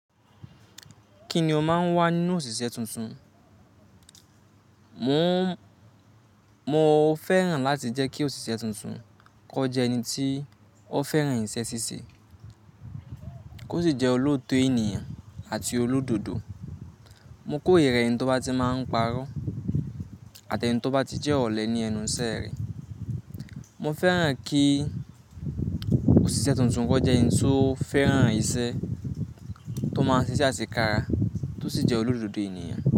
Kí ni o máa ń wá nínú òṣìṣẹ́ tuntun? Mo, mo fẹ́ràn láti jẹ́ kí òṣìṣẹ́ tuntun kọjá ẹni tí ó fẹ́ràn iṣẹ́ ṣíṣe, kó sì jẹ́ olóòótọ́ ènìyàn àti olódodo. Mo kórìíra ẹni tó bá ti máa ń parọ́ àti ẹni tó bá ti jẹ́ ọ̀lẹ ní ẹnu ìṣẹ́ rẹ̀. Mo fẹ́ràn kí òṣìṣẹ́ tuntun kó jẹ́ ẹni tí ó fẹ́ràn ìṣe tó máa ń ṣìṣẹ́ àsekára tó sì jẹ́ olódodo ènìyàn.